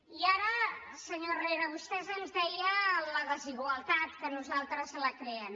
i ara senyor herrera vostè ens deia la desigualtat que nosaltres la creem